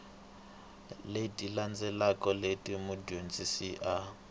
leti landzelaka leti mudyondzi a